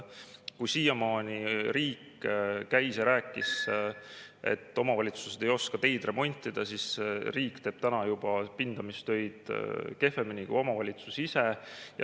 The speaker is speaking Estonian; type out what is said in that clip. Kui siiamaani riik käis ja rääkis, et omavalitsused ei oska teid remontida, siis riik teeb täna juba pindamistöid kehvemini kui omavalitsus ise.